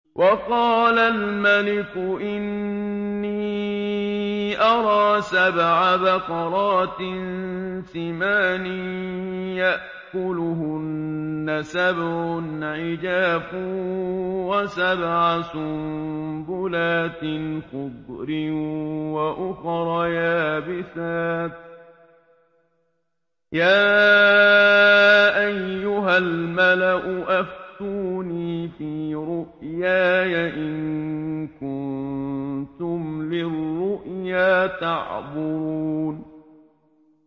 وَقَالَ الْمَلِكُ إِنِّي أَرَىٰ سَبْعَ بَقَرَاتٍ سِمَانٍ يَأْكُلُهُنَّ سَبْعٌ عِجَافٌ وَسَبْعَ سُنبُلَاتٍ خُضْرٍ وَأُخَرَ يَابِسَاتٍ ۖ يَا أَيُّهَا الْمَلَأُ أَفْتُونِي فِي رُؤْيَايَ إِن كُنتُمْ لِلرُّؤْيَا تَعْبُرُونَ